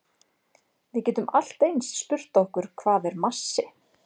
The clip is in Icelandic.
Við getum allt eins spurt okkur hvað er massi?